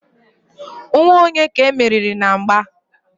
nwa onye ka e meriri na mgba?